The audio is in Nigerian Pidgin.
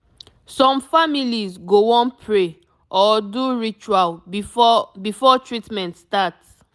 some families go wan pray or do ritual before before treatment start